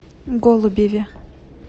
голубеве